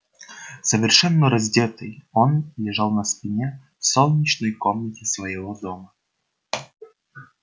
совершенно раздетый он лежал на спине в солнечной комнате своего дома